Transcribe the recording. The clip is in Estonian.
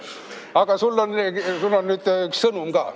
Aga sul on nüüd üks sõnum ka.